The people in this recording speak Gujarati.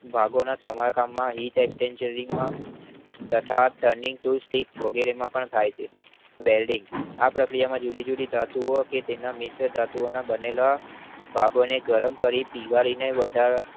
ભાગોના સામસામા VTesting જેવીનમાં તથા Training tip વગેરે માં પણ થાય છે welding આ પ્રક્રિયામાં જુદી જુદી ધાતુઓ કે તેના મિશ્ર ધાતુઓ ના બનેલા ભાગોને ગરમ કરી પીગળીને વધારે